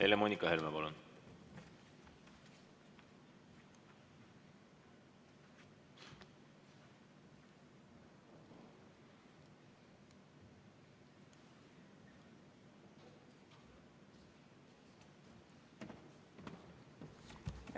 Helle-Moonika Helme, palun!